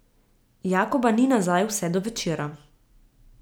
Jakoba ni nazaj vse do večera.